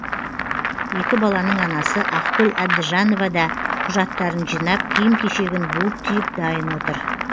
екі баланың анасы ақгүл әбдіжанова да құжаттарын жинап киім кешегін буып түйіп дайын отыр